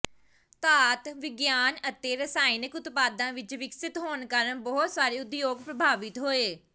ਧਾਤ ਵਿਗਿਆਨ ਅਤੇ ਰਸਾਇਣਕ ਉਤਪਾਦਾਂ ਵਿੱਚ ਵਿਕਸਤ ਹੋਣ ਕਾਰਨ ਬਹੁਤ ਸਾਰੇ ਉਦਯੋਗ ਪ੍ਰਭਾਵਿਤ ਹੋਏ